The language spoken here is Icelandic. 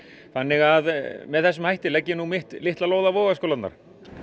þannig að með þessum hætti legg ég mitt litla lóð á vogarskálarnar